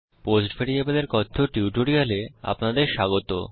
post ভ্যারিয়েবলের কথ্য টিউটোরিয়ালে আপনাদের স্বাগত